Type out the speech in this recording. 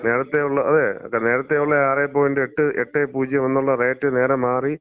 നേരത്തെയുള്ള അതെ, നേരത്തെയുള്ള 6 പോയന്‍റ് 8, 80 എന്നുള്ള റേറ്റ് നേരെ മാറി